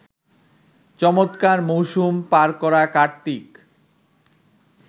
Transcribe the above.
চমৎকার মৌসুম পার করা কার্তিক